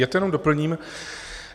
Já to jenom doplním.